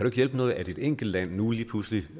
ikke hjælpe noget at et enkelt land nu lige pludselig